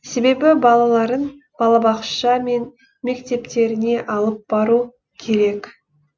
себебі балаларын балабақша мен мектептеріне алып бару керек